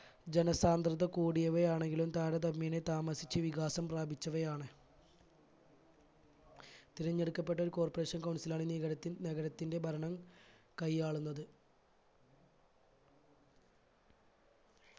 ജനസാന്ദ്രത കൂടിയവ ആണെങ്കിലും താരതമ്യേനെ താമസിച്ച് വികാസം പ്രാപിച്ചവയാണ്. തിരഞ്ഞെടുക്കപ്പെട്ട corporation council ആണ് നിഗരത്തിൻ നഗരത്തിന്റെ ഭരണം കൈയാളുന്നത്.